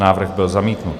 Návrh byl zamítnut.